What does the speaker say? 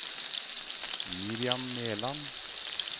Miriam Meland